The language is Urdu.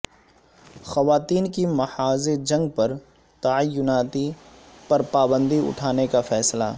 خواتین کی محاذ جنگ پر تعیناتی پر پابندی اٹھانے کا فیصلہ